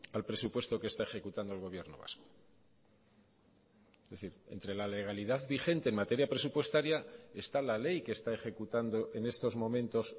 al presupuesto que está ejecutando el gobierno vasco es decir entre la legalidad vigente en materia presupuestaria está la ley que está ejecutando en estos momentos